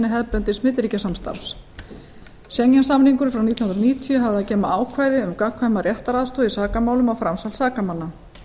hefðbundins milliríkjasamstarfs schengen samningurinn frá nítján hundruð níutíu hafði að geyma ákvæði um gagnkvæma réttaraðstoð í sakamálum og framsal sakamanna